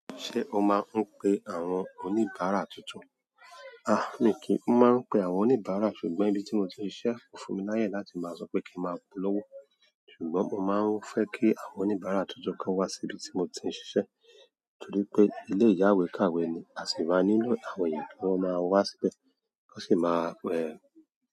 Ṣé o máa ń pe àwọn oníbàárà tuntun? A, mi kì í máa ń pe àwọn oníbàárà ṣùgbọ́n ibi tí mo ti ń ṣiṣẹ́ fún mi láyè láti máa sọ pé kí n máa polówó. Ṣùgbọ́n mo máa ń fẹ́ kí àwọn oníbàárà tuntun kan wá síbi tí mo ti ń ṣiṣẹ́ torí pé ilé ìyáwèékàwé ni, a sì máa nílò àwọn èeyan kí wọ́n máa wá síbẹ̀, wọ́n sì máa ẹ.